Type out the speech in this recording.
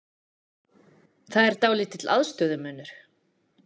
Það er dálítill aðstöðumunur?